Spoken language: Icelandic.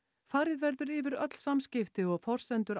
farið verður yfir öll samskipti og forsendur